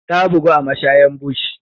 Ta bugu a mashayan bush.